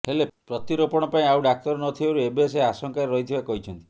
ହେଲେ ପ୍ରତିରୋପଣ ପାଇଁ ଆଉ ଡାକ୍ତର ନଥିବାରୁ ଏବେ ସେ ଆଶଙ୍କାରେ ରହିଥିବା କହିଛନ୍ତି